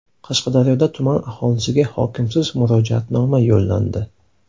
Qashqadaryoda tuman aholisiga hokimsiz murojaatnoma yo‘llandi.